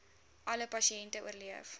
alle pasiënte oorleef